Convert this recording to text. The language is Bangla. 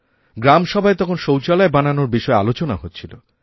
গ্রাম সভায় তখন শৌচালয় বানানোর বিষয়েআলোচনা হচ্ছিল